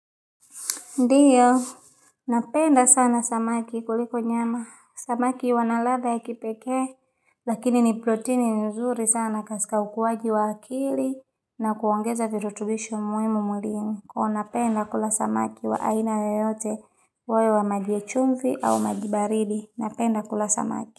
Ndiyo, napenda sana samaki kuliko nyama. Samaki wanaladha ya kipeke, lakini ni proteini nzuri sana kaskawu kwa jiwa akili na kuongeza virutubisho muimu mulingi. Kwa napenda kula samaki wa aina yoyote wae wa majwe chumfi au majibaridi. Napenda kula samaki.